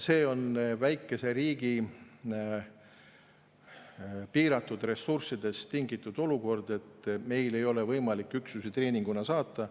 See on väikese riigi piiratud ressurssidest tingitud olukord, et meil ei ole võimalik sinna üksusi treeninguks saata.